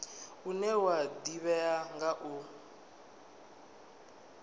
une wa ḓivhea nga u